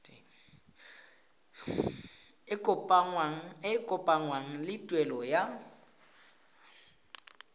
e kopanngwang le tuelo ya